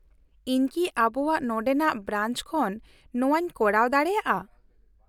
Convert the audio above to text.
-ᱤᱧ ᱠᱤ ᱟᱵᱚᱣᱟᱜ ᱱᱚᱸᱰᱮᱱᱟᱜ ᱵᱨᱟᱧᱪ ᱠᱷᱚᱱ ᱱᱚᱣᱟᱧ ᱠᱚᱨᱟᱣ ᱫᱟᱲᱮᱭᱟᱜᱼᱟ ?